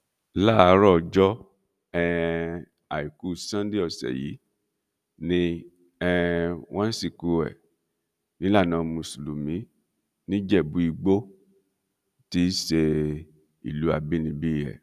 láàárọ̀ ọjọ́ um àìkú sọ́nńdè ọ̀sẹ̀ yìí ni um wọ́n sìnkú ẹ̀ nílànà mùsùlùmí níjẹ̀bú igbó tí í ṣe ìlú abínibí ẹ̀